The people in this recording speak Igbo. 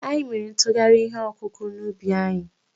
Anyị mere nkụgharị ihe ọkụkụ̀ n'ubi anyị.